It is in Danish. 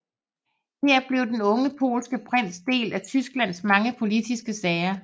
Her blev den unge polske prins del af Tysklands mange politiske sager